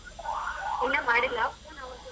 ಇನ್ನ ಮಾಡಿಲ್ಲ phone ಅವ್ರು ಕೂಡ.